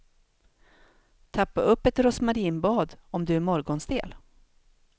Tappa upp ett rosmarinbad om du är morgonstel.